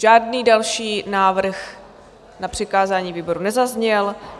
Žádný další návrh na přikázání výboru nezazněl.